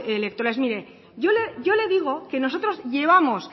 electorales mire yo le digo que nosotros llevamos